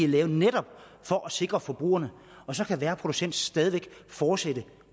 lavet netop for at sikre forbrugerne så kan hver producent stadig væk fortsætte